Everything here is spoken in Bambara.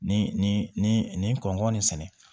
Ni nin nin kɔnkɔn nin sɛnɛ